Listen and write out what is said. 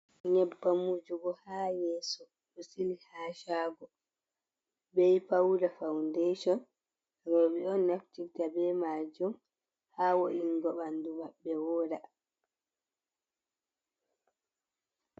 Nyebbam wujugo ha yesso ɗo sili ha shago, be pauda faundation roɓɓe on naftita be majum ha wo’ingo ɓanɗu maɓɓe woɗa.